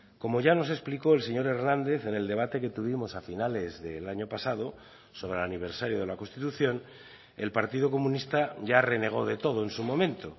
como ya nos explicó el señor hernández en el debate que tuvimos a finales del año pasado sobre el aniversario de la constitución el partido comunista ya renegó de todo en su momento